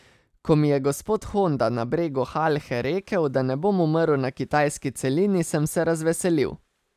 Ko mi je gospod Honda na bregu Halhe rekel, da ne bom umrl na kitajski celini, sem se razveselil.